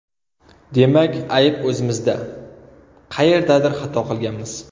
Demak ayb o‘zimizda: qayerdadir xato qilganmiz”.